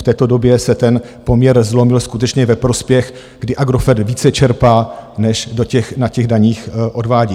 V této době se ten poměr zlomil skutečně ve prospěch, kdy Agrofert více čerpá, než na těch daních odvádí.